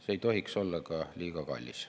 See ei tohiks olla liiga ka kallis.